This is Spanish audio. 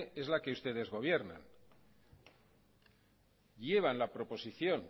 es la que ustedes gobiernan llevan la proposición